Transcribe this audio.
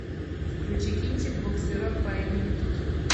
включи кинчик буксирок по имени тут